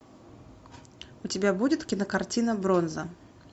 у тебя будет кинокартина бронза